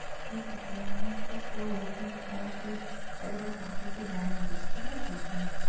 ঠিক আছে আমি একবার করবো কিন্তু তাও তুই একবার কাকিকে জানিয়ে দিস ঠিক আছে?